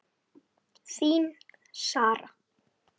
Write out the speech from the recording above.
Þín, Sara.